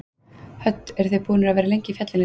Hödd: Eruð þið búnir að vera lengi í fjallinu í dag?